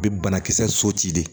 A bɛ banakisɛ soci de